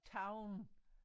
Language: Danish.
Town